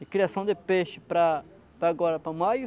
de criação de peixe para, para agora, para maio.